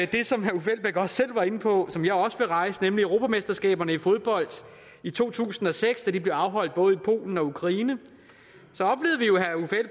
det som herre uffe elbæk også selv var inde på nemlig europamesterskabet i fodbold i to tusind og seks som blev afholdt både i polen og ukraine